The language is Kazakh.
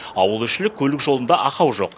ауылішілік көлік жолында ақау жоқ